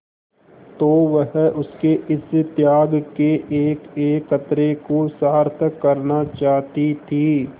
तो वह उसके इस त्याग के एकएक कतरे को सार्थक करना चाहती थी